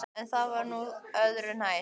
En það var nú öðru nær.